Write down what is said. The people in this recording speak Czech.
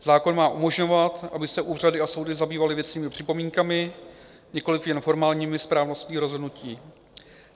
Zákon má umožňovat, aby se úřady a soudy zabývaly věcnými připomínkami, nikoliv jen formální správností rozhodnutí.